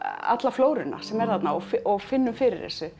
alla flóruna sem er þarna og og finnum fyrir þessu